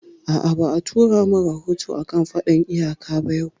A'a, ba a tura mun rahoto a kan faɗan iyaka ba yau